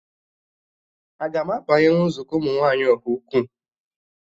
Aga m abanyenwu nzukọ ụmụ nwaanyị Ọhaukwu?